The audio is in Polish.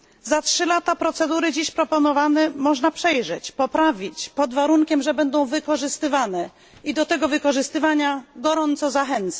Za 3 lata dziś proponowane procedury można przejrzeć, poprawić, pod warunkiem, że będą wykorzystywane, i do tego wykorzystywania gorąco zachęcam.